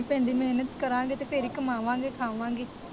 ਪੈਂਦੀ, ਮਿਹਨਤ ਕਰਾਂਗੇ ਤੇ ਫਿਰ ਹੀ ਕਮਾਵਾਂਗੇ, ਖਾਵਾਂਗੇ।